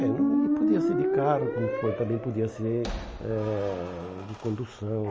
É, e podia ser de carro, como po também podia ser eh de condução.